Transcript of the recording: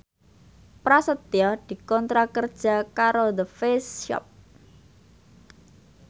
Prasetyo dikontrak kerja karo The Face Shop